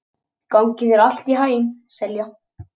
Gangi þér allt í haginn, Selja.